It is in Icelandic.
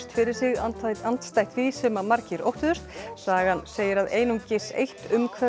fyrir sig andstætt andstætt því sem margir óttuðust sagan segir að einungis eitt